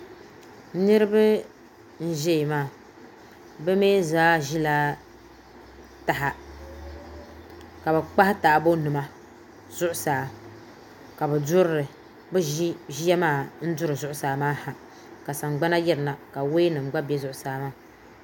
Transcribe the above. Niriba n-ʒɛya maa bɛ mi zaa ʒila taha ka bɛ kpahi taabonima zuɣusaa ka bɛ duri li bɛ ʒi ʒiya maa n-duri zuɣusaa maa ha ka saɡbana yiri na ka wayanima ɡba be zuɣusaa maa